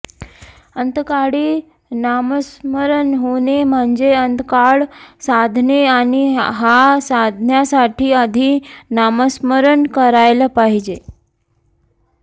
अंतकाळी नामस्मरण होणे म्हणजे अंतकाळ साधणे आणि हा साधण्यासाठी आधी नामस्मरण करायला पाहिजे